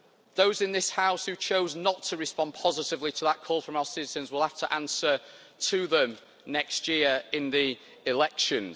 Those in this House, who chose not to respond positively to that call from our citizens will have to answer to them next year in the elections.